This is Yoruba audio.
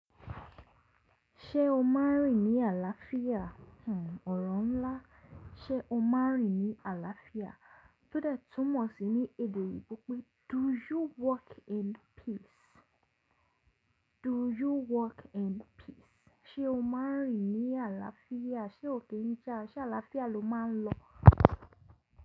Ṣé o máa rìn ní àlàáfíà? Hmmm ọ̀rọ̀ ńlá. Ṣé o máa rìn ní àlàáfíà? Tódẹ̀ tún mọ̀ sí ní èdè òyìnbó pé “Do you walk in peace?” Do you walk in peace? Ṣé o máa rìn ní àlàáfíà? Ṣé òkè ń jà? Ṣé àlàáfíà lo má a ń lọ?